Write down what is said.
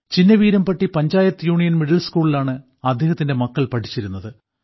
Chinnaveerampatti panchayat union middle സ്കൂളിലാണ് അവരുടെ മക്കൾ പഠിച്ചിരുന്നത്